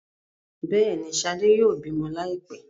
Béèni, shade yóò bímọ laipẹ.